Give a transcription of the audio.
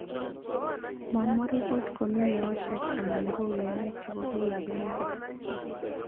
Mamwaa ripot komii meoshrk anan koumyanet chepo piik ap emeet